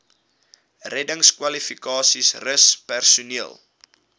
reddingskwalifikasies rus personeel